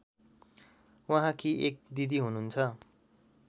उहाँकी एक दिदी हुनुहुन्छ